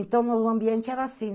Então, meu ambiente era assim.